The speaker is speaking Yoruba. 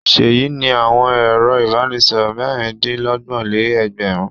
Ṣèyí ní àwọn ẹ̀rọ-ìbánisọ̀rọ̀ mẹ́rin-dín-lọ́gbọ̀n-lé-ẹgbẹ̀rún.